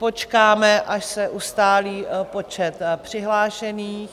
Počkáme, až se ustálí počet přihlášených.